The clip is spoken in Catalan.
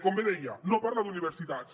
com bé deia no parla d’universitats